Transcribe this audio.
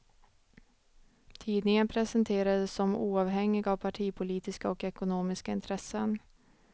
Tidningen presenterades som oavhängig av partipolitiska och ekonomiska intressen.